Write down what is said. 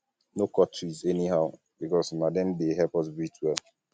no cut tree anyhow because na dem dey help us breathe well um